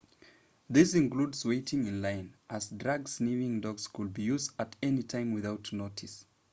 this includes waiting in line as drug-sniffing dogs could be used at any time without notice